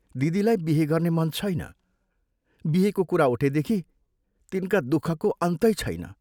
दिदीलाई बिहे गर्न मन छैन, बिहेको कुरा उठेदेखि तिनका दुःखको अन्तै छैन।